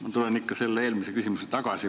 Ma tulen ikka selle eelmise küsimuse juurde tagasi.